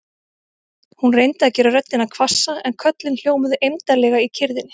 Hún reyndi að gera röddina hvassa en köllin hljómuðu eymdarlega í kyrrðinni.